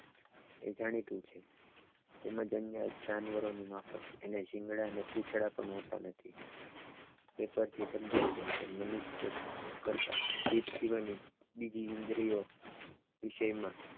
તે જાણીતું છ તેમ જ અન્ય જાનવરોની માફક એને શિંગડા અને પૂંછડા પણ હોતા નથ તે પરથી સમજાય છે કે મનુષ્ય કરતાં જીભ સિવાયની બીજી ઇન્દ્રિયો વિષયમાં